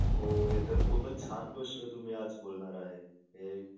हो हे तर खूपच छान गोष्ट तुम्ही आज बोलणार आहे हे